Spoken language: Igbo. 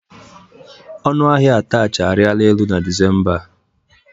Ọnụ ahia atachị arịla elu na Disemba a.